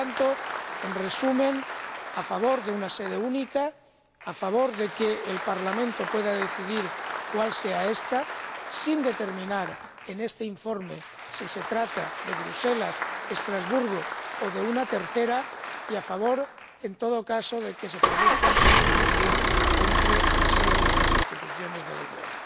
Por tanto, en resumen estamos a favor de una sede única, a favor de que el Parlamento pueda decidir cuál sea esta —sin determinar en este informe si se trata de Bruselas, Estrasburgo o de una tercera— y a favor, en todo caso, de que se produzca un reequilibrio entre las sedes de las instituciones de la Unión.